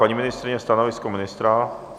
Paní ministryně, stanovisko ministra?